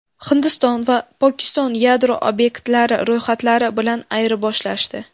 Hindiston va Pokiston yadro obyektlari ro‘yxatlari bilan ayirboshlashdi.